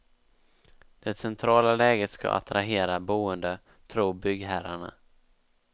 Det centrala läget ska attrahera boende tror byggherrarna.